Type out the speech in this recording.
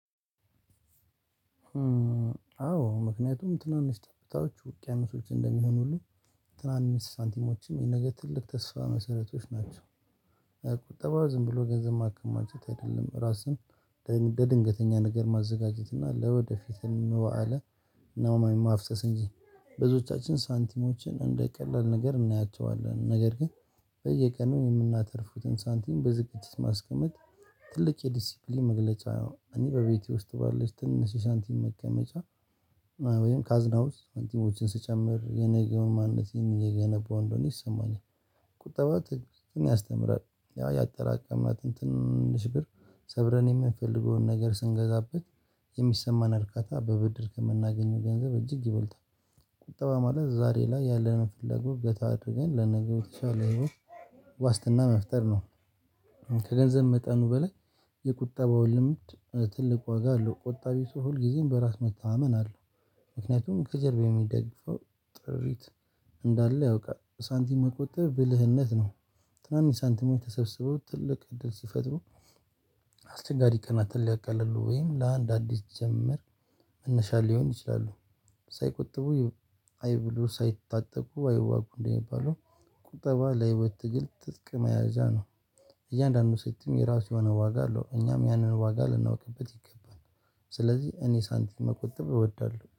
አዎ ምክንያቱም ትናንሽ ጠብታዎች ውቅያኖሶች እንደሚሆኑልን ትናንሽ ሳንቲሞችም የነገ ትልቅ ተስፋ መሰረቶች ናቸው። ቁጠባ ዝም ብሎ ገንዘብ ማከማቸት አይደለም ራስን ለድንገተኛ ነገር ማዘጋጀት እና ለወደፊት እንደው። ነው ማፍሰስ እንጂ። ብዙዎቻችን ሳንቲሞችን እንደ ቀላል ነገር እናያቸዋለን ነገር ግን በየቀኑ የምናተርፈውን ሳንቲም በዝግጅት ማስቀመጥ ትልቅ የዲሲፕሊን መግለጫ ነው። እኔ በቤቴ ውስጥ ባለች ትንሽ የሳንቲም ማከማቻ ወይም ካዝናው ሳንቲሞችን ስጨምር የነገውን ማንነቴን እየገነባው እንደሆነ ይሰማኛል። ቁጠባ ያስተምራል ያ ያጠራቀማትን ትንንሽ ብር ሰብረን የምንፈልገውን ነገር ስንገዛበት የሚሰማን እርካታ በብድር ከምናገኘው ገንዘብ እጅግ ይበልጣል። ቁጠባ ማለት ዛሬ ላይ ያለነውን ፍላጎት ገታ አድርገን ለነገ በተሻለ ህይወት ዋስትና መፍጠር ነው። ከገንዘብ መጠኑ በላይ የቁጠባው ልምድ ትልቅ ዋጋ አለው። ቆጣቢ ሰው ሁልጊዜም በራስ መታመን አለው። ምክንያቱም ከጀርባው የሚደግፈው ጥሪት እንዳለው ያውቃል። ሳንቲም መቆጠብ ብልህነት ነው። ትናንሽ ሳንቲሞች ተሰብስበው ትልቅ እድል ሲፈጥሩ። አስቸጋሪ ቀናትን ሊያቃልሉ ወይም ለአንድ አዲስ ጅምር መነሻ ሊሆኑ ይችላሉ። ሳይቆጥቡ አይብሉ ሳይታጠቁ አይዋጉ እንደሚባለው። ቁጠባ ለህይወት ትግል ትጥቅ መያዣ ነው። እያንዳንዱ ሳንቲም የራሱ የሆነ ዋጋ አለው እኛም ያንን ዋጋ ልናውቅበት ይገባል። ስለዚህ እኔ ሳንቲም መቆጠብ እወዳለሁ